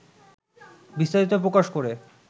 বিস্তারিত প্রকাশ করে